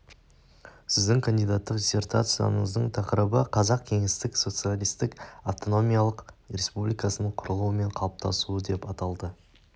сіздің кандидаттық диссертацияңыздың тақырыбы қазақ кеңестік социалистік автономиялық республикасының құрылуы мен қалыптасуы деп аталды